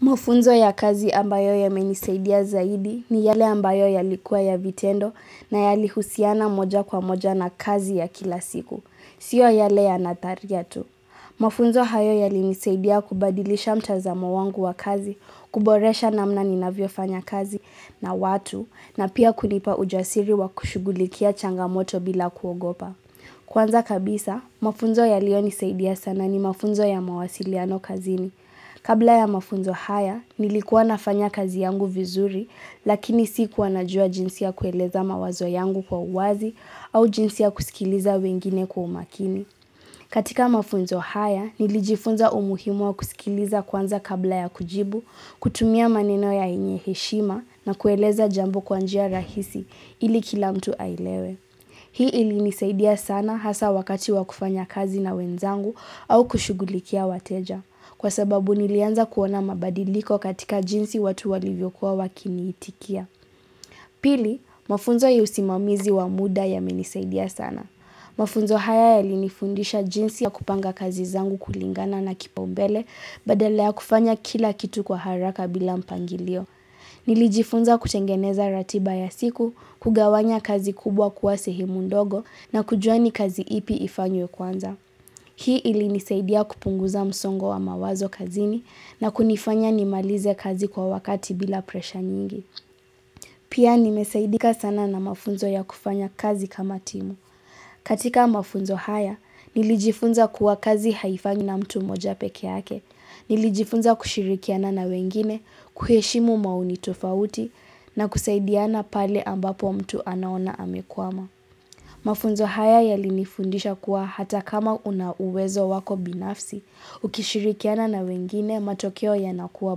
Mafunzo ya kazi ambayo yamenisaidia zaidi ni yale ambayo yalikuwa ya vitendo na yalihusiana moja kwa moja na kazi ya kila siku. Sio yale ya nadharia tu. Mafunzo hayo yalinisaidia kubadilisha mtazamo wangu wa kazi, kuboresha namna ninavyofanya kazi na watu na pia kulipa ujasiri wa kushugulikia changamoto bila kuogopa. Kwanza kabisa, mafunzo yaliyonisaidia sana ni mafunzo ya mawasiliano kazini. Kabla ya mafunzo haya, nilikuwa nafanya kazi yangu vizuri, lakini sikuwa najua jinsi ya kueleza mawazo yangu kwa uwazi au jinsi ya kusikiliza wengine kwa umakini. Katika mafunzo haya, nilijifunza umuhimu wa kusikiliza kwanza kabla ya kujibu, kutumia maneno yenye heshima na kueleza jambo kwa njia rahisi ili kila mtu aelewe. Hii ilinisaidia sana hasa wakati wakufanya kazi na wenzangu au kushughulikia wateja kwa sababu nilianza kuona mabadiliko katika jinsi watu walivyokuwa wakiniitikia. Pili, mafunzo ya usimamizi wa muda yamenisaidia sana. Mafunzo haya yalinifundisha jinsi ya kupanga kazi zangu kulingana na kipaumbele badala ya kufanya kila kitu kwa haraka bila mpangilio. Nilijifunza kutengeneza ratiba ya siku, kugawanya kazi kubwa kuwa sehemu ndogo na kujua ni kazi ipi ifanyo kwanza. Hii ilinisaidia kupunguza msongo wa mawazo kazini na kunifanya nimalize kazi kwa wakati bila pressure nyingi. Pia nimesaidika sana na mafunzo ya kufanya kazi kama timu. Katika mafunzo haya, nilijifunza kuwa kazi haifanywi na mtu mmoja peke yake. Nilijifunza kushirikiana na wengine, kuheshimu maoni tofauti na kusaidiana pale ambapo mtu anaona amekwama. Mafunzo haya yalinifundisha kuwa hata kama una uwezo wako binafsi, ukishirikiana na wengine, matokeo yanakuwa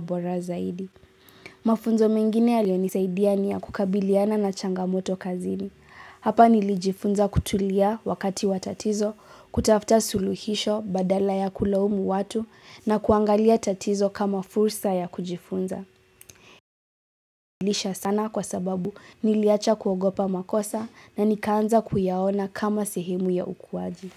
bora zaidi. Mafunzo mengine yalinisaidia niya kukabiliana na changamoto kazini. Hapa nilijifunza kutulia wakati watatizo, kutafuta suluhisho badala ya kuloumu watu na kuangalia tatizo kama fursa ya kujifunza. Nilisha sana kwa sababu niliacha kuogopa makosa na nikaanza kuyaona kama sehemu ya ukuwaji.